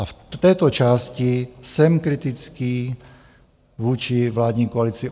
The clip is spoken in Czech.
A v této části jsem kritický vůči vládní koalici.